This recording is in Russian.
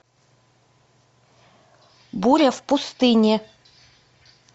буря в пустыне